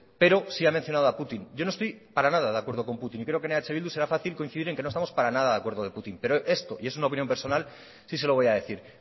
pero sí ha mencionado a putin yo no estoy para nada de acuerdo con putin y creo que en eh bildu será fácil coincidir en que no estamos para nada de acuerdo de putin pero una opinión personal sí se lo voy a decir